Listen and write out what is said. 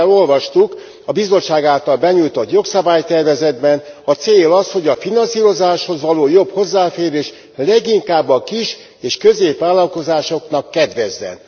Örömmel olvastuk, hogy a Bizottság által benyújtott jogszabálytervezet célja az, hogy a finanszírozáshoz való jobb hozzáférés leginkább a kis és középvállalkozásoknak kedvezzen.